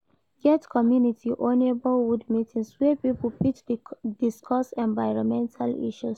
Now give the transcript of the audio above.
Get community or neigbourhood meetings wey pipo fit discuss environmental issues